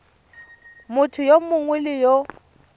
motho yo mongwe le yo